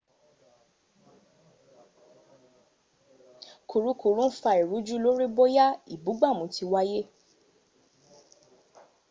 kùrukùru ń fa ìrújú lórí bóyá ìbúgbàmù ti wáyé